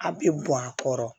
A bɛ bɔn a kɔrɔ